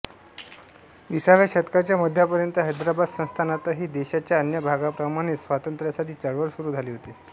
विसाव्या शतकाच्या मध्यापर्यंत हैदराबाद संस्थांनातही देशाच्या अन्य भागाप्रमाणेच स्वातंत्र्यासाठी चळवळ सुरू झाली होती